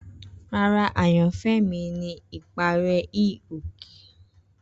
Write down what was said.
Rara, ayanfẹ mi ni ipare hi-oke.